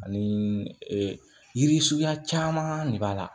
Ani yiri suguya caman de b'a la